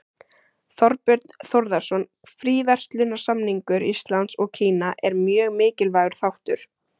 Þorbjörn Þórðarson: Fríverslunarsamningur Íslands og Kína er mjög mikilvægur þáttur?